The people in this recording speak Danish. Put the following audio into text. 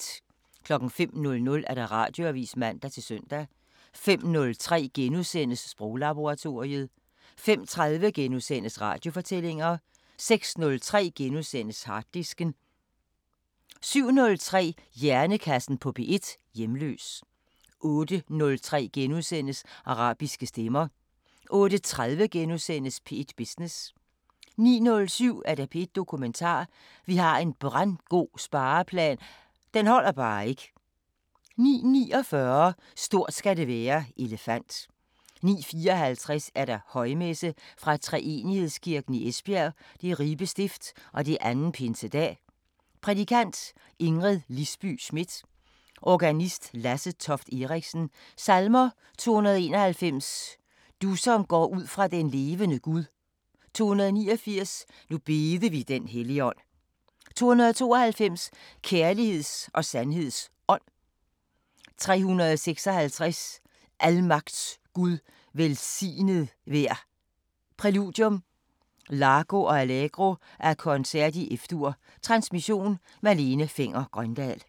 05:00: Radioavisen (man-søn) 05:03: Sproglaboratoriet * 05:30: Radiofortællinger * 06:03: Harddisken * 07:03: Hjernekassen på P1: Hjemløs 08:03: Arabiske Stemmer * 08:30: P1 Business * 09:07: P1 Dokumentar: Vi har en brandgod spareplan – den holder bare ikke 09:49: Stort skal det være: Elefant 09:54: Højmesse - Fra Treenighedskirken, Esbjerg. Ribe Stift. 2. Pinsedag. Prædikant: Ingrid Lisby Schmidt. Organist: Lasse Toft Eriksen. Salmer: 291: Du som går ud fra den levende Gud 289: Nu bede vi den Helligånd 292: Kærligheds og sandheds Ånd 356: Almagts Gud, velsignet vær Præludium: Largo og Allegro af Koncert i F-dur Transmission: Malene Fenger-Grøndahl.